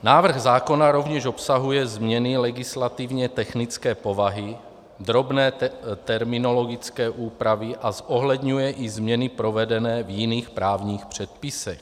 Návrh zákona rovněž obsahuje změny legislativně technické povahy, drobné terminologické úpravy a zohledňuje i změny provedené v jiných právních předpisech.